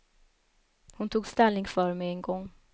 Hon tog ställning för mig en gång.